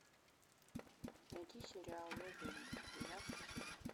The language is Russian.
найди сериал я зомби двенадцатый сезон